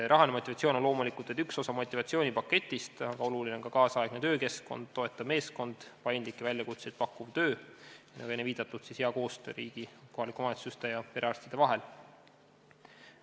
Rahaline motivatsioon on loomulikult vaid üks osa motivatsioonipaketist, aga oluline on ka nüüdisaegne töökeskkond, toetav meeskond, paindlikke väljakutseid pakkuv töö ning, nagu enne viidatud, hea koostöö kohalike omavalitsuste ja perearstide vahel.